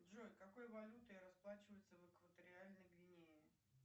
джой какой валютой расплачиваются в экваториальной гвинее